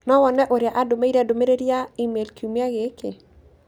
no wone ũrĩa andũmĩire ndũmĩrĩri yake ya e-mail kiumia gĩkĩ.